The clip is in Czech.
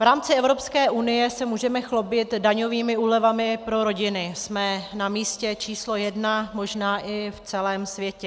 V rámci Evropské unie se můžeme chlubit daňovými úlevami pro rodiny, jsme na místě číslo jedna možná i v celém světě.